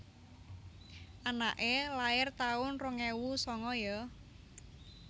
Anake lair taun rong ewu sanga yo